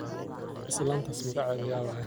Islantas magacedha yawaye.